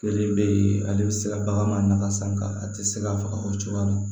Kelen bɛ yen ale bɛ se ka baganmaga san ka a tɛ se ka faga o cogoya la